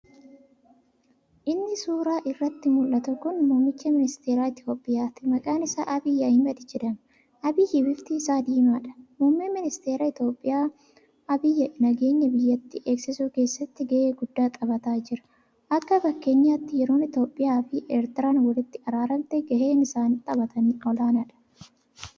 Inni suuraa irratti muldhatu kun muummicha ministeera itiyoophiyaati. Maqaan isaas Abiy Ahimad jedhama. Abiy bifti isaa diimaadha. Muummeen ministeera Itiyoophiyaa Abiy nageenya biyyattii eegsisuu keessatti gahee guddaa taphataa jira. Akka fakkeenyaatti yeroon Itiyoophiyaa fi Ertiriyaan wolitti araaramte gaheen isaan taphatan olaanaadha.